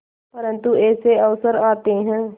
परंतु ऐसे अवसर आते हैं